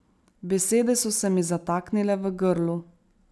Besede so se mi zataknile v grlu.